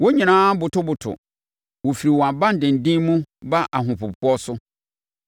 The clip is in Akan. Wɔn nyinaa botoboto; wɔfiri wɔn abandenden mu ba ahopopoɔ so.